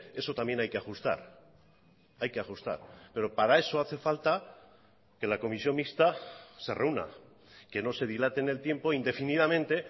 eso también hay que ajustar hay que ajustar pero para eso hace falta que la comisión mixta se reúna que no se dilate en el tiempo indefinidamente